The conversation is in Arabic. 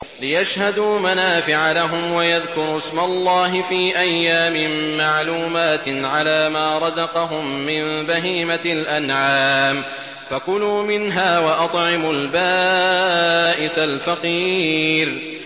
لِّيَشْهَدُوا مَنَافِعَ لَهُمْ وَيَذْكُرُوا اسْمَ اللَّهِ فِي أَيَّامٍ مَّعْلُومَاتٍ عَلَىٰ مَا رَزَقَهُم مِّن بَهِيمَةِ الْأَنْعَامِ ۖ فَكُلُوا مِنْهَا وَأَطْعِمُوا الْبَائِسَ الْفَقِيرَ